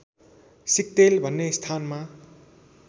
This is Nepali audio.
सिक्तेल भन्ने स्थानमा